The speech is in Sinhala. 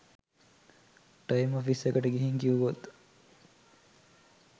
ටයිම් ඔෆිස් එකට ගිහින් කිව්වොත්